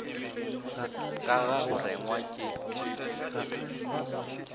ka ga go rengwa ke